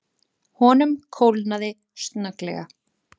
Honum kólnaði snögglega.